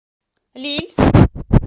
лилль